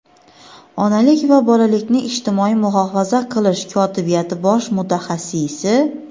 onalik va bolalikni ijtimoiy muhofaza qilish kotibiyati bosh mutaxassisi;.